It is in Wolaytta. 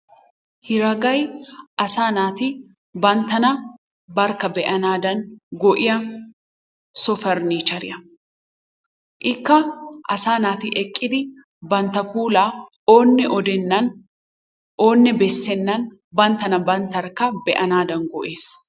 Hereagay asa natti banttana banttarikka be'anadan go'iyaa soo parnicheriyaa, ikka asa natti ekiddi banttaa pullaa onne odenani onne besenanni bantanna banttarikka be'anadan giyabbaa.